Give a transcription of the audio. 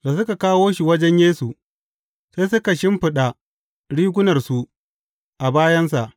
Da suka kawo shi wajen Yesu, sai suka shimfiɗa rigunarsu a bayansa.